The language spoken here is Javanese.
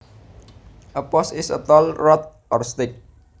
A post is a tall rod or stick